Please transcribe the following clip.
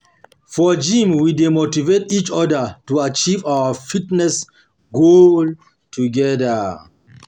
For gym, we dey motivate each other to achieve our fitness goals together.